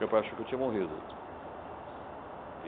Meu pai achou que eu tinha morrido.